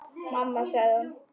Mamma sagði hún.